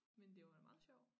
Men det var da meget sjov